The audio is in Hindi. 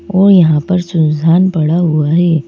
और यहां पर सुनसान पड़ा हुआ है।